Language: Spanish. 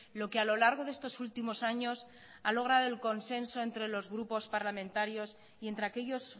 lo que a lo largo de estos últimos años ha logrado el consenso entre los grupos parlamentarios y entre aquellos